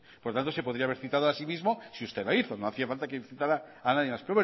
por lo tanto se podría haber citado así mismo si usted la hizo no hacía falta que citara a nadie más